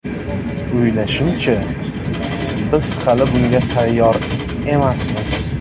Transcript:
O‘ylashimcha, biz hali bunga tayyor emasmiz.